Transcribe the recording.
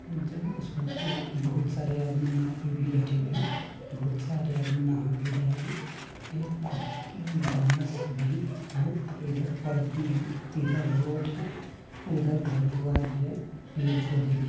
जो उसमे बहुत-बहुत सारे आदमी नाव पे भी बैठे हुए है बहुत सारे आदमी नहा भी रहे है एक बास भी है इधर परती है इधर रोड है उधर घर द्वार भी है पेड़-पौधे भी---